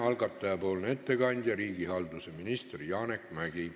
Algataja nimel ettekandja on riigihalduse minister Janek Mäggi.